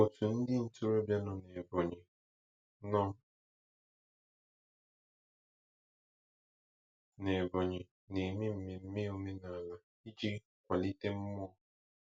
Otu ndị ntorobịa nọ n'Ebonyi nọ n'Ebonyi na-eme mmemme omenala iji kwalite mmụọ.